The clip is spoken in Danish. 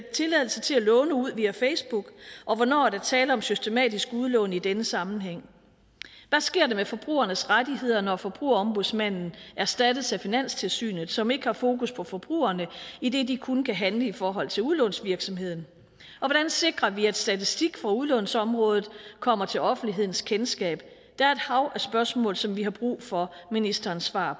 tilladelse til at låne ud via facebook og hvornår er der tale om systematisk udlån i denne sammenhæng hvad sker der med forbrugernes rettigheder når forbrugerombudsmanden erstattes af finanstilsynet som ikke har fokus på forbrugerne idet de kun kan handle i forhold til udlånsvirksomheden og hvordan sikrer vi at statistik for udlånsområdet kommer til offentlighedens kendskab der er et hav af spørgsmål som vi har brug for ministerens svar